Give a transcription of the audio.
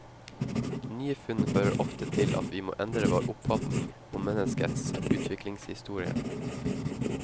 Nye funn fører ofte til at vi må endre vår oppfatning om menneskets utviklingshistorie.